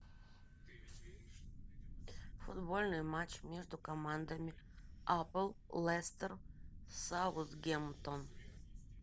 футбольный матч между командами апл лестер саутгемптон